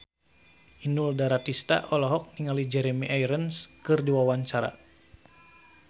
Inul Daratista olohok ningali Jeremy Irons keur diwawancara